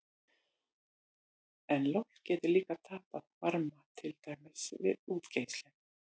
En loft getur líka tapað varma, til dæmis við útgeislun.